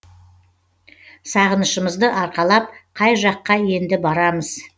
сағынышымызды арқалап қай жаққа енді барамыз